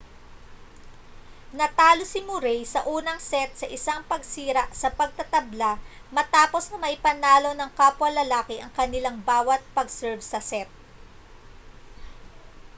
natalo si murray sa unang set sa isang pagsira sa pagtatabla matapos na maipanalo ng kapwa lalaki ang kanilang bawa't pag-serve sa set